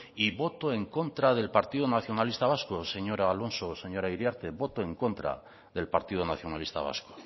y voto en contra del partido nacionalista vasco señor alonso señora iriarte voto en contra del partido nacionalista vasco